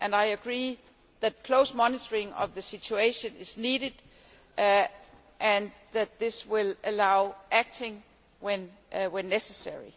I agree that close monitoring of the situation is needed and that this will allow action where necessary.